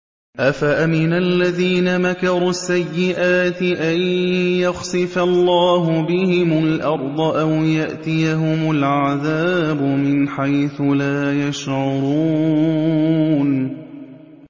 أَفَأَمِنَ الَّذِينَ مَكَرُوا السَّيِّئَاتِ أَن يَخْسِفَ اللَّهُ بِهِمُ الْأَرْضَ أَوْ يَأْتِيَهُمُ الْعَذَابُ مِنْ حَيْثُ لَا يَشْعُرُونَ